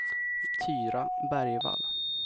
Tyra Bergvall